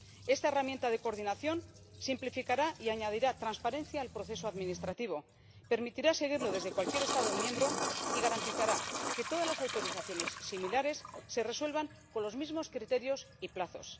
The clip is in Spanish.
Esta herramienta de coordinación simplificará y añadirá transparencia al proceso administrativo, permitirá seguirlo desde cualquier Estado miembro y garantizará que todas las autorizaciones similares se resuelvan con los mismos criterios y plazos.